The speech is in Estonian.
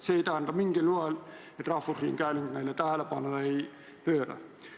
See ei tähenda mingil moel, et rahvusringhääling neile tähelepanu ei pööra.